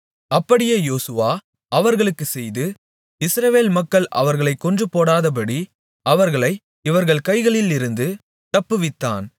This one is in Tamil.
அப்படியே யோசுவா அவர்களுக்குச் செய்து இஸ்ரவேல் மக்கள் அவர்களைக் கொன்றுபோடாதபடி அவர்களை இவர்கள் கைகளிலிருந்து தப்புவித்தான்